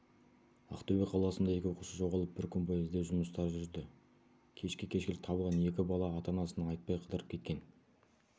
ақтөбе қаласында екі оқушы жоғалып бір күн бойы іздеу жұмыстары жүрді кешке кешкілік табылған екі бала ата-анасына айтпай қыдырып кеткен